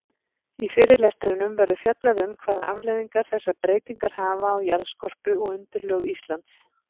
Í fyrirlestrinum verður fjallað um hvaða afleiðingar þessar breytingar hafa á jarðskorpu og undirlög Íslands.